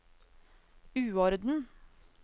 uorden